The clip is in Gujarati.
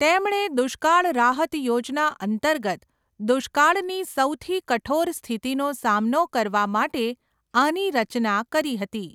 તેમણે દુષ્કાળ રાહત યોજના અંતર્ગત દુષ્કાળની સૌથી કઠોર સ્થિતિનો સામનો કરવા માટે આની રચના કરી હતી.